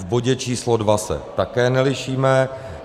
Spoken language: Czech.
V bodě číslo II se také nelišíme.